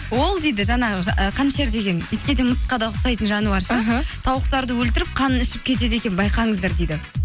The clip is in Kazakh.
ол дейді жаңағы ы қанішер деген итке де мысыққа да ұқсайтын жануар ше іхі тауықтарды өлтіріп қанын ішіп кетеді екен байқаңыздар дейді